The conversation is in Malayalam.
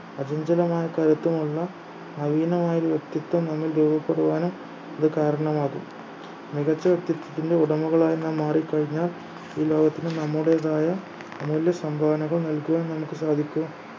അചഞ്ചലമായ കയറ്റമുള്ള നവീനമായ ഒരു വ്യക്തിത്വം നമ്മിൽ രൂപപ്പെടുവാനും ഇത് കാരണമാകും മികച്ച വ്യക്തിത്വത്തിന്റെ ഉടമകളായി നാം മാറിക്കഴിഞ്ഞാൽ ഈ ലോകത്തിന് നമ്മുടേതായ അമൂല്യ സംഭാവനകൾ നൽകുവാൻ നമുക്ക് സാധിക്കും